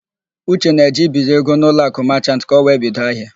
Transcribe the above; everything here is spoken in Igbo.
Uche na-eje ibiri ego n'Uloakụ Machant ka ọ wee bido ahịa.